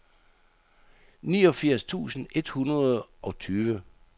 niogfirs tusind et hundrede og tyve